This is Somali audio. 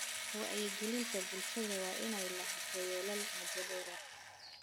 Wacyigelinta bulshada waa inay lahaato yoolal muddo dheer ah.